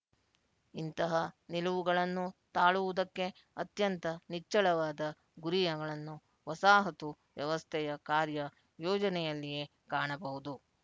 ಇಂತಹ ನಿಲುವುಗಳನ್ನು ತಾಳುವುದಕ್ಕೆ ಅತ್ಯಂತ ನಿಚ್ಚಳವಾದ ಗುರಿಗಳನ್ನು ವಸಾಹತು ವ್ಯವಸ್ಥೆಯ ಕಾರ್ಯ ಯೋಜನೆಯಲ್ಲಿಯೇ ಕಾಣಬಹುದು